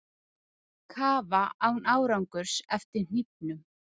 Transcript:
Kafa án árangurs eftir hnífnum